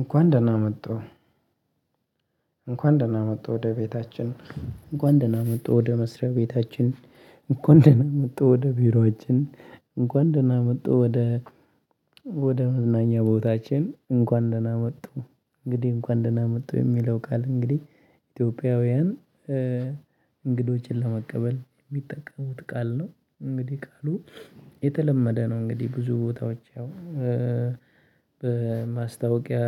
እንኳን ደህና መጡ እንኳን ደህና መጡ ወደ ቤታችን እንኳን ደህና መጡ ወደ መስሪያ ቤታችን እንኳን ደህና መጡ ወደ ቢሮአችን እንኳን ደህና መጡ ወደ ወደ መዝናኛ ቦታችን እንኳን ደህና መጡ። እንግዲህ እንኳን ደህና መጡ የሚለው ቃል እንግዲህ ኢትዮጵያውያን እንግዶችን ለመቀበል የሚጠቀሙት ቃል ነው። እንግዲህ ቃሉ የተለመደ ነው። እንግዲህ ብዙ ቦታዎች አሁን በማስታወቂያ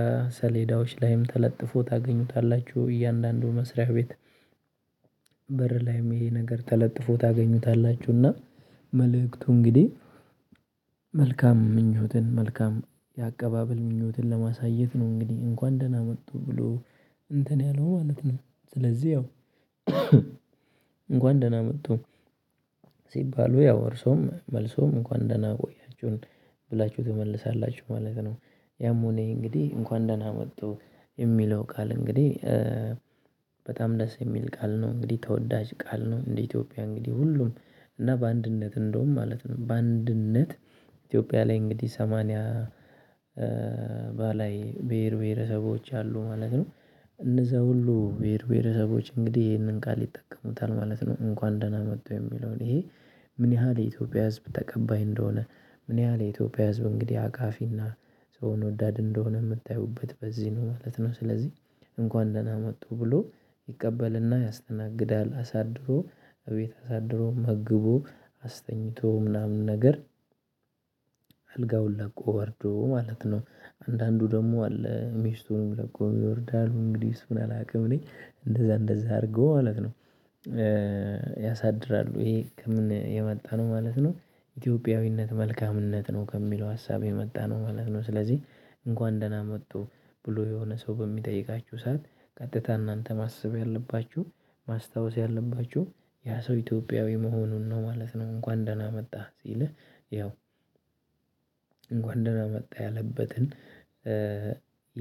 ሰሌዳዎች ላይም ተለጥፎ ታገኙታላችሁ እያንዳንዱ መስሪያ ቤት በር ላይም ይሄ ነገር ተለጥፎ ታገኙታላችሁና። መልእክቱ እንግዲህ መልካም ምኞትን መልካም የአቀባበል ምኞትን ለማሳየት ነው እንግዲህ እንኳን ደህና መጡ ብሎ እንትን ያለው ማለት ነው። ስለዚህ ያው እንኳን ደህና መጡ። ሲባሉ ያው እርሶም መልሶም እንኳን ደህና ቆያችሁን ብላችሁ ትመልሳላችሁ ማለት ነው። ያም ሆነ ይህ እንግዲህ እንኳን ደህና መጡ የሚለው ቃል እንግዲህ በጣም ደስ የሚል ቃል ነው እንግዲህ ተወዳጅ ቃል ነው። እንደ ኢትዮጵያ እንግዲህ ሁሉም እና በአንድነት እንደውም ማለት ነው በአንድነት ኢትዮጵያ ላይ እንግዲህ ሰማንያ በላይ ብሄር ብሄረሰቦች አሉ ማለት ነው። እነዛ ሁሉ ብሄር ብሄረሰቦች እንግዲህ ይሄንን ቃል ይጠቀሙታል ማለት ነው። እንኳን ደህና መጡ የሚለውን ይሄ ምን ያህል የኢትዮጵያ ህዝብ ተቀባይ እንደሆነ ምን ያህል የኢትዮጵያ ህዝብ እንግዲህ አቃፊና ሰውን ወዳድ እንደሆነ የምታዩበት በዚህ ነው ማለት ነው። ስለዚህ እንኳን ደህና መጡ ብሎ ይቀበልና ያስተናግዳል አሳድሮ እቤት አሳድሮ መግቦ አስተኛቶ ምናምን ነገር አልጋውን ለቆ ወርዶ ማለት ነው። አንዳንዱ ደግሞ አለ ሚስቱንም ለቆ ይወርዳል እንግዲህ እሱን አላውቅም እኔ እንደዛ እንደዛ አድርጎ ማለት ነው። ያሳድራሉ ይሄ ከምን የመጣ ነው ማለት ነው። ኢትዮጵያዊነት መልካምነት ነው ከሚለው ሀሳብ የመጣ ነው ማለት ነው። ስለዚህ እንኳን ደህና መጡ ብሎ የሆነ ሰው በሚጠይቃችሁ ሰዓት ቀጥታ እናንተ ማስብ ያለባችሁ ማስታወስ ያለባችሁ ያ ሰው ኢትዮጵያዊ መሆኑን ነው ማለት ነው። እንኳን ደህና መጣህ ሲልህ ያው እንኳን ደህና መጣ ያለበትን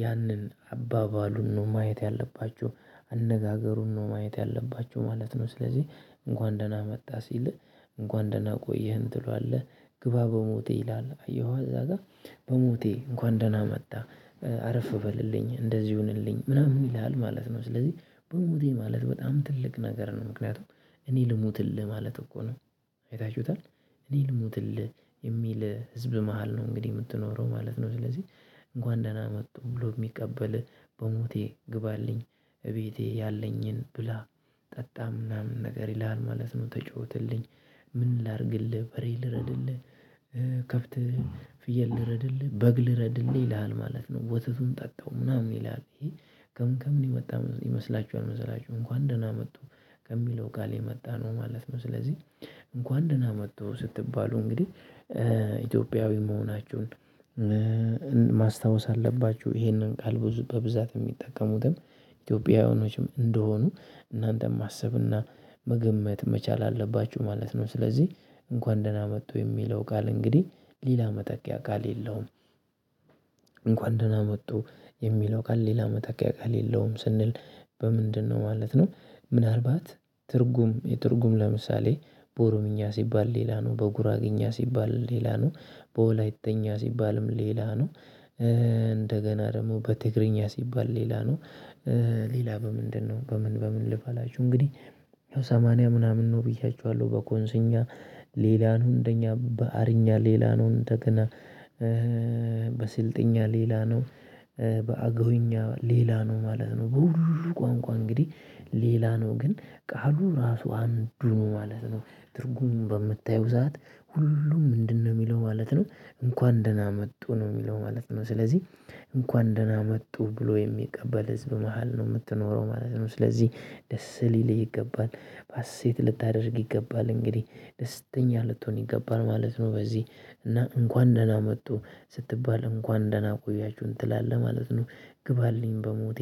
ያንን አባባሉን ነው ማየት ያለባችሁ አነጋገሩን ነው ማየት ያለባችሁ ማለት ነው። ስለዚህ እንኳን ደህና መጣ ሲልህ እንኳን ደህና ቆየህን ትሏለህ ግባ በሞቴ ይላል አየሁ አዛ ጋር በሞቴ እንኳን ደህና መጣ አረፍ በልልኝ እንደዚህ ይሁንልኝ ምናምን ይልሃል ማለት ነው። ስለዚህ በሙቴ ማለት በጣም ትልቅ ነገር ነው ምክንያቱም እኔ ልሙትልህ ማለት እኮ ነው። አይታችሁታል እኔ ልሙትልህ የሚል ህዝብ መሃል ነው እንግዲህ የምትኖረው ማለት ነው። ስለዚህ እንኳን ደህና መጡ ብሎ የሚቀበል በሞቴ ግባልኝ እቤቴ ያለኝን ብላ ጠጣም ምናምን ነገር ይልሃል ማለት ነው። ተጫወትልኝ ምን ላድርግልህ በሬ ልረድልህ ከብትህ ፍየል ልረድልህ በግ ልረድልህ ይልሃል ማለት ነው። ወተቱን ጠጣው ምናምን ይላል ይሄ ከምን ከምን የመጣ ይመስላችኋል? መሰላችሁ እንኳን ደህና መጡ ከሚለው ጋር የመጣ ነው ማለት ነው። ስለዚህ እንኳን ደህና መጥቶ ስትባሉ እንግዲህ ኢትዮጵያዊ መሆናችሁን ማስታወስ አለባችሁ ይሄንን ቃል ብዙ በብዛት የሚጠቀሙትም ኢትዮጵያውያኖችም እንደሆኑ እናንተም ማሰብና መገመት መቻል አለባችሁ ማለት ነው። ስለዚህ እንኳን ደህና መጡ የሚለው ቃል እንግዲህ ሌላ መተኪያ ቃል የለውም። እንኳን ደህና መጡ የሚለው ቃል ሌላ መተኪም የለውም ስንል በምንድነው ማለት ነው? ምናልባት ትርጉም የትርጉም ለምሳሌ በኦሮምኛ ሲባል ሌላ ነው በጉራግኛ ሲባል ሌላ ነው በወላይተኛ ሲባልም ሌላ ነው። እንደገና ደግሞ በትግርኛ ሲባል ሌላ ነው። ሌላ በምንድነው በምን በምን ልብ አላችሁ እንግዲህ ያው ሰማንያ ምናምን ነው ብያችኋለሁ በኮንስኛ ሌላን ሁንደኛ በአርኛ ሌላን እንደገና በስልጠኛ ሌላ ነው በአገውኛ ሌላ ነው ማለት ነው። በሁሉ ቋንቋ እንግዲህ ሌላ ነው ግን ቃሉ ራሱ አንዱ ማለት ነው ትርጉሙን በምታዩ ሰዓት ሁሉም ምንድነው የሚለው ማለት ነው እንኳን ደህና መጡ ነው የሚለው ማለት ነው። ስለዚህ እንኳን ደህና መጡ ብሎ የሚቀበል ህዝብ መሃል ነው የምትኖረው ማለት ነው። ስለዚህ ደስ ሊልህ ይገባል ሀሴት ልታደርግ ይገባል እንግዲህ ደስተኛ ልትሆን ይገባል ማለት ነው። በዚህ እና እንኳን ደህና መጡ ስትባል እንኳን ደህና ቆያችሁ ትላለህ ማለት ነው። ግባልኝ በሞቴ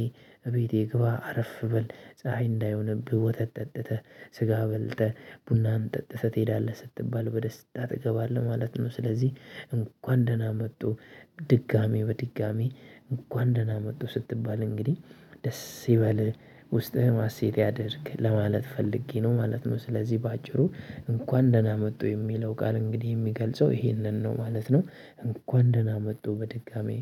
እቤቴ ግባ አረፍ በል ፀሀይ እንዳይሆንብህ ወተት ጠጥተህ ስጋ በልተህ ቡናህም ጠጥተህ ትሄዳለህ ስትባል በደስታ ትገባለህ ማለት ነው። ስለዚህ እንኳን ደህና መጡ። ድጋሚ በድጋሚ እንኳን ደህና መጡ ስትባል እንግዲህ ደስ ይበልህ ውስጥህም ሀሴት ያድርግ ለማለት ፈልጌ ነው ማለት ነው። ስለዚህ በአጭሩ እንኳን ደህና መጡ የሚለው ቃል እንግዲህ የሚገልጸው ይሄንን ነው ማለት ነው። እንኳን ደህና መጡ በድጋሚ